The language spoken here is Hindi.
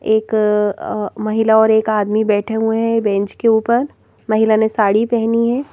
एक महिला और एक आदमी बैठे हुए हैं बेंच के ऊपर महिला ने साड़ी पहनी है।